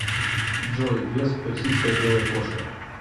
джой вес персидская белая кошка